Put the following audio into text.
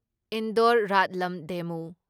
Indore Ratlam ꯗꯦꯃꯨ